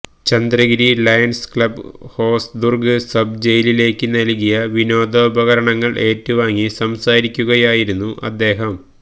Chandragiri lions club Hosdurg sub ജയിലിലേക്ക് നല്കിയ വിനോദോപകരണങ്ങള് ഏറ്റുവാങ്ങി സംസാരിക്കുകയായിരുന്നു അദ്ദേഹം